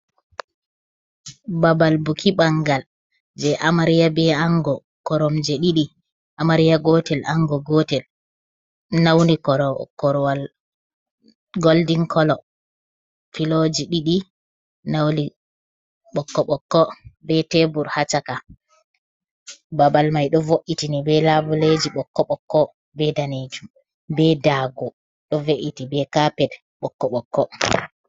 Babal buki bangal je amaria be ango korom je did amaria gotel ango gotel nauni rorwal goldin kolo flo ji d nauni bb be tebur hacaka babal mai do vo’itini be laboleji bokko bokko be danejum be dago do ve’iti be kaped ɓokko ɓokko.